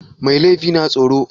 Mai laifi na tsoro?